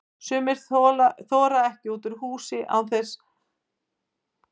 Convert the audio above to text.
Sumir þora ekki út úr húsi án fylgdar náins vinar eða ættingja.